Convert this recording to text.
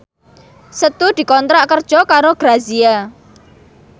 Setu dikontrak kerja karo Grazia